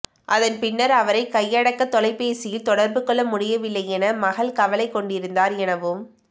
அதன் பின்னர் அவரை கையடக்க தொலைபேசியில் தொடர்புகொள்ள முடியவில்லை என மகள் கவலைகொண்டிருந்தார் எனவும்